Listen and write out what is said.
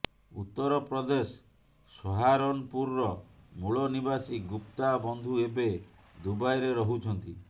ଉତ୍ତରପ୍ରଦେଶ ସହାରନପୁରର ମୂଳନିବାସୀ ଗୁପ୍ତା ବନ୍ଧୁ ଏବେ ଦୁବାଇରେ ରହୁଛନ୍ତି